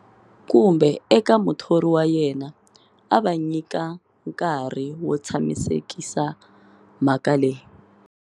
Kumbe eka muthori wa yena, a va nyika nkarhi wo tshamisekisa mhaka leyi.